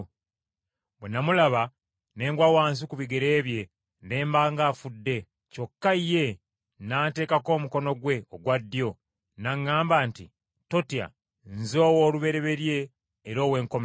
Bwe namulaba, ne ngwa wansi ku bigere bye ne mba ng’afudde, kyokka ye n’anteekako omukono gwe ogwa ddyo n’aŋŋamba nti, “Totya. Nze Owoolubereberye era Owenkomerero,